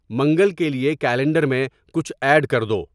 منگل کے لیے کیلنڈر میں کچھ ایڈ کر دو